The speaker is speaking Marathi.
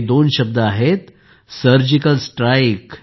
हे दोन शब्द आहेत सर्जिकल स्ट्राइक